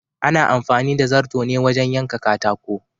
Ana amfani da zarto ne wajen yanka katako